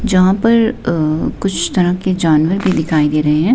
यहां पर अह कुछ तरह के जानवर भी दिखाई दे रहे हैं।